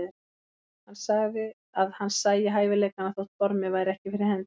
Hann sagði að hann sæi hæfileikana þótt formið væri ekki fyrir hendi.